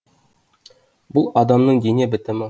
бұл адамның дене бітімі